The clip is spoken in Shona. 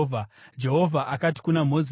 Jehovha akati kuna Mozisi,